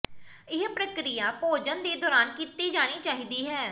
ਇਹ ਪ੍ਰਕ੍ਰਿਆ ਭੋਜਨ ਦੇ ਦੌਰਾਨ ਕੀਤੀ ਜਾਣੀ ਚਾਹੀਦੀ ਹੈ